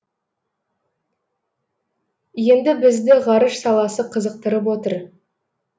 енді бізді ғарыш саласы қызықтырып отыр